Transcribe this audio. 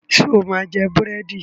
Ṣo máa jẹ búrẹ́dì?